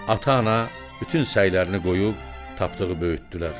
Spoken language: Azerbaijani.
Ata-ana bütün səylərini qoyub Tapdığı böyütdülər.